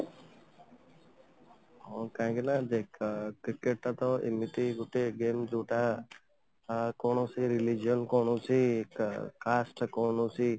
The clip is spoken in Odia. ହଁ କାହିଁକିନା ଦେଖ cricket ଟା ତ ଏମିତି ଗୋଟେ game ଯୋଉଟା ଅ କୌଣସି religion କୌଣସି caste କୌଣସି